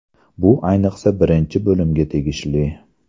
Bu, ayniqsa, birinchi bo‘limga tegishli.